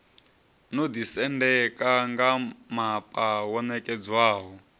no ḓisendeka ngamapa wo ṋekedzwaho